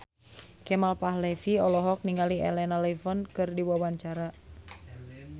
Kemal Palevi olohok ningali Elena Levon keur diwawancara